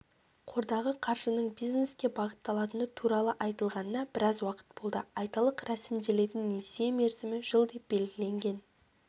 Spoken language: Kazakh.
қордағы қаржының бизнеске бағытталатыны туралы айтылғанына біраз уақыт болды айталық рәсімделетін несие мерзімі жыл деп белгіленген